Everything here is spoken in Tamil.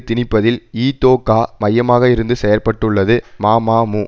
திணிப்பதில் இதொகா மையமாக இருந்து செயற்பட்டுள்ளது மமமு